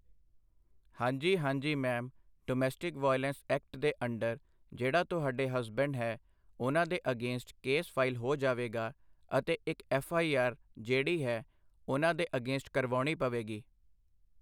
ਹਾਂਜੀ ਹਾਂਜੀ ma'am domestic violence act ਦੇ ਅੰਡਰ ਜਿਹੜਾ ਤੁਹਾਡੇ ਹਸਬੈਂਡ ਹੈ ਉਹਨਾਂ ਦੇ ਅਗੇਂਸਟ ਕੇਸ ਫਾਈਲ ਹੋ ਜਾਵੇਗਾ ਅਤੇ ਇੱਕ ਐਫ ਆਈ ਆਰ ਜਿਹੜੀ ਹੈ ਉਹਨਾਂ ਦੇ ਅਗੇਂਸਟ ਕਰਵਾਉਣੀ ਪਵੇਗੀ